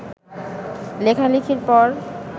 লেখালেখির পর